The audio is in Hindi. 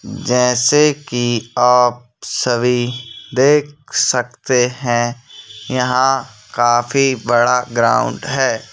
जैसे की आप सभी देख सकते हैं यहां काफी बड़ा ग्राउंड हैं।